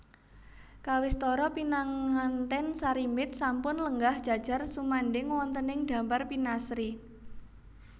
Kawistara pinanganten sarimbit sampun lenggah jajar sumandhing wontening dampar pinaasri